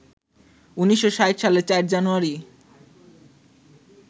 ১৯৬০ সালের ৪ জানুয়ারি